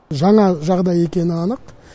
жаңа жағдай екені анық